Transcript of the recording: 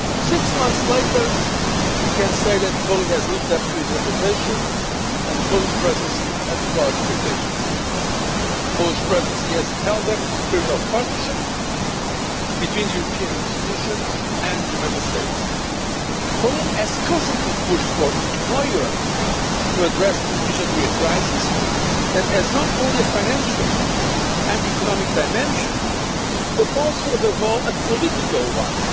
Six months later, we can say that Poland has lived up to its reputation and the Polish Presidency to our expectations. The Polish Presidency has held up the spirit of partnership between the European institutions and the Member States. Poland has constantly pushed for more Europe to address efficiently a crisis that has not only a financial and economic dimension but also, above all, a political one.